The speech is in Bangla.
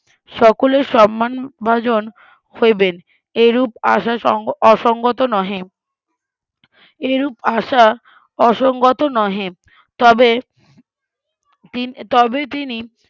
সকলের সম্মানভাজন হইবেন এইরূপ আশা অসঙ্গত নহে এইরূপ আশা অসঙ্গত নহে তবে তিন তবে তিনি